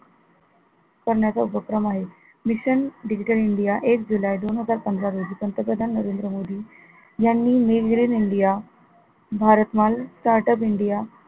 करण्याचा उपक्रम आहे mission digital india एक जुलै दोन हजार पंधरा रोजी पंतप्रधान नरेंद्र मोदी यांनी made in India भारत माल startup india